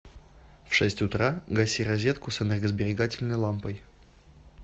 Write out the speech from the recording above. в шесть утра гаси розетку с энергосберегательной лампой